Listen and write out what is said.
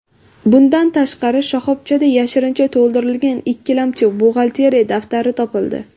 Bundan tashqari, shoxobchada yashirincha to‘ldirilgan ikkilamchi buxgalteriya daftari topildi.